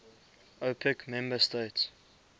opec member states